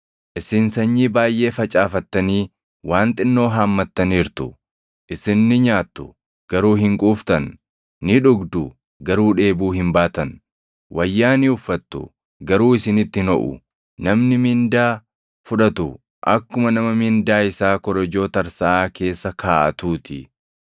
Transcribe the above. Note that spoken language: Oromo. Isin sanyii baayʼee facaafattanii waan xinnoo haammattaniirtu. Isin ni nyaattu; garuu hin quuftan. Ni dhugdu; garuu dheebuu hin baatan. Wayyaa ni uffattu; garuu isinitti hin hoʼu. Namni mindaa fudhatu akkuma nama mindaa isaa korojoo tarsaʼaa keessa kaaʼatuu ti.”